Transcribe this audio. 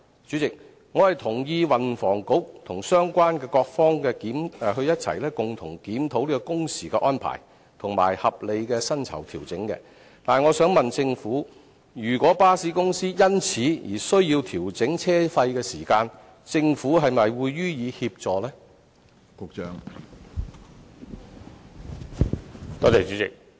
主席，我同意運輸及房屋局與相關各方共同檢討工時的安排，並且作出合理的薪酬調整，但我想問政府，如果巴士公司因而需要調整車費，政府會否予以協助呢？